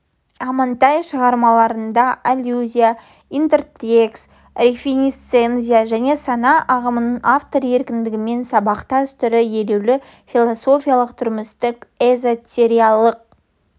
амантай шығармаларында аллюзия интертекст реминисценция және сана ағымының автор еркіндігімен сабақтас түрі елеулі философиялық тұрмыстық эзотериялық